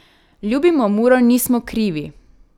Ljubimo Muro nismo krivi!